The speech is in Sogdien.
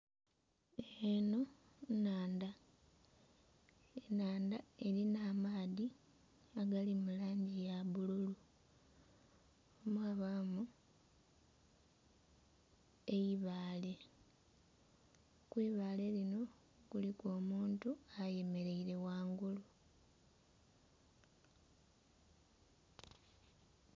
Eno nnhandha, enhandha erina amaadhi agali mu langi ya bbulu, mwabamu eibaale, kwibaale linho kuliku omuntu ayemereire ghangulu.